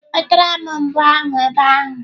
Wetara m mbo ahu ebe ahu!